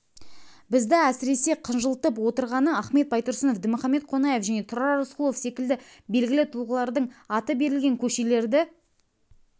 бізді әсіресеқынжылтып отырғаны ахмет байтұрсынов дінмұхамед қонаев және тұрар рысқұлов секілді белгілі тұлғалардың аты берілген көшелерді